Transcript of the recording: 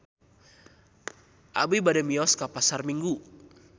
Abi bade mios ka Pasar Minggu